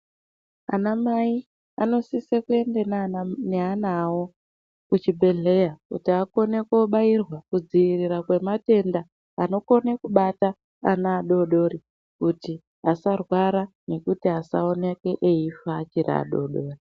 Ana Mai vanosisa kuenda neana awo kuchibhehleya kuti akone kobairwa kudzivirira kwematenda anokona kubata ana adoridori kuti asarwara nekuti asaoneke eifa achiri adoridori .